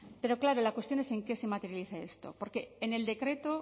pero claro la cuestión es en qué se materializa esto porque en el decreto